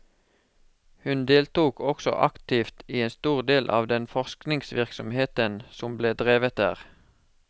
Hun deltok også aktivt i en stor del av den forskningsvirksomheten som ble drevet der.